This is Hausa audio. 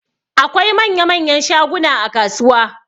Akwai manya-manyan shaguna a kasuwa.